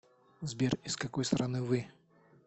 сбер из какой страны вы